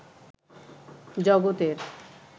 জগতের